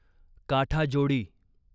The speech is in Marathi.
काठाजोडी